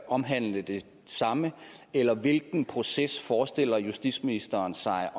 omhandlende det samme eller hvilken proces forestiller justitsministeren sig